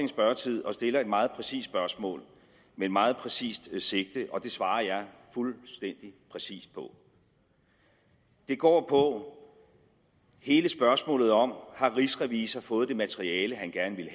spørgetid og stiller et meget præcist spørgsmål med et meget præcist sigte og det svarer jeg fuldstændig præcist på det går på hele spørgsmålet om om rigsrevisor har fået det materiale han gerne ville